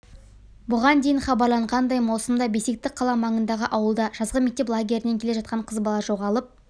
бұған дейін хабарланғандай маусымда бесекті қала маңындағы ауылда жазғы мектеп лагерінен келе жатқан қыз бала жоғалып